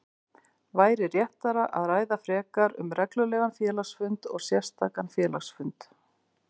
væri réttara að ræða frekar um reglulegan félagsfund og sérstakan félagsfund.